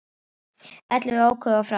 Ellefu óku of hratt